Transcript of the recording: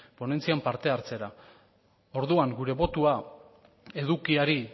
ponentzian parte hartzera orduan gure botoa edukiari